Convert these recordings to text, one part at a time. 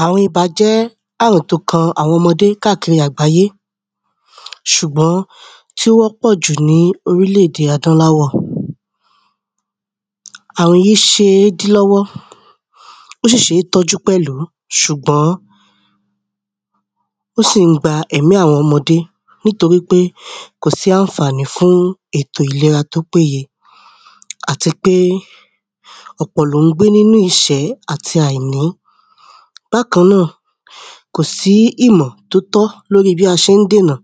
àrun ibà jẹ́ àrùn tó kan àwọn ọmọdé kákiri àgbáyé ṣùgbọ́n tí wọ́n pọ̀jù ní orílẹ̀-èdè adúláwọ̀ àrùn yìí ṣe dí lọ́wọ́ ó sì ṣe tọ́jú pẹ̀lú ṣùgbọ́n ó sì ń gba ẹ̀mí àwọn ọmọdé ní torípé kò sí ànfàní fún ètò ìlera tó péye àti pé ọ̀pọ̀ ló ń gbé nínú ìṣẹ́ àti àìní bákan náà kò sí ìmọ̀ tó tọ́ lórí bí a ṣe ń dènà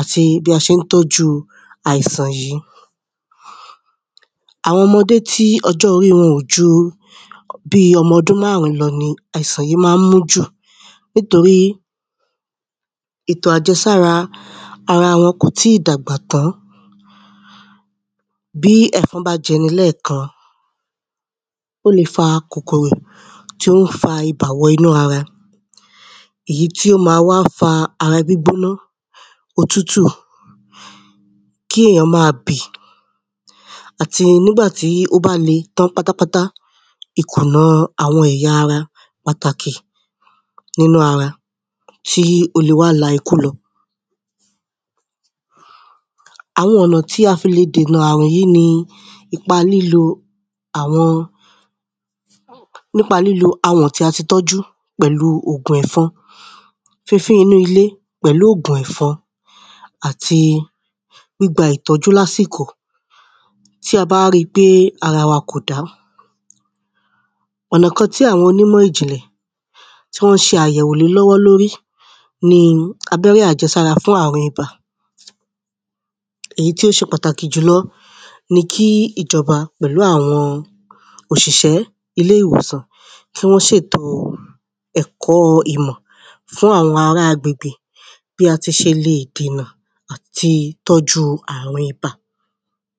àti bí a ṣe ń tọ́ju àìsàn yí àwọn ọmọdé tí ọjọ́-orí wọn ò ju ọmọdún márùn ún lọ ni àìsàn yí máa ń mú jù nítorí ètò àjẹsára ara wọn kò tíì dàgbà tán bí ẹ̀fọn bá jẹni lẹ́ẹ̀kan ó le fa kòkòrò tí ó ń fa ibà wọ inú ara èyí tí ó máa ń fa ara gbígbóná, òtútù, kí èèyàn máa bì àti nígbà tí ó bá le tán pátápátá, ikùnù àwọn ẹ̀yà ara pàtàkì nínú ara tí ó lè wá la ikú lọ àwọn ọ̀nà tí a fi le dènà àrùn yí ni nípa lílo awọ̀n tí a ti tọ́jú pẹ̀lú ògùn ẹ̀fọn fínfín inú ilé pẹ̀lú ògùn ẹ̀fọn àti gbígba ìtọ́jú lásìkò tí a bá ri pé ara wa kò dá ọ̀nà tí àwọn onímọ̀ ìjìnlẹ̀ tí wọ́n ṣe àyẹ̀wò lé lọ́wọ́ lórí ni abẹ́rẹ́ àjẹsára fún àrùn ibà èyí tó ṣe pàtàkì jùlọ ni kí ìjọba pẹ̀lú àwọn òṣìṣẹ́ ilé ìwòsàn kí wọ́n ṣètò ẹ̀kọ́ ìmọ̀ fún àwọn ará agbègbè bí a ti ṣelè dènà àrùn ibà.